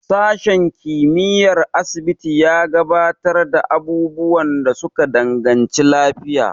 Sashen kimiyyar asibiti ya gabatar da abubuwan da suka danganci lafiya.